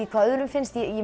hvað öðrum finnst ég